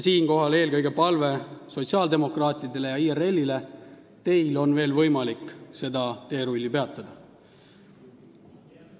Siinkohal on palve eelkõige sotsiaaldemokraatidele ja IRL-ile: teil on veel võimalik seda teerulli peatada.